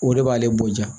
O de b'ale bonya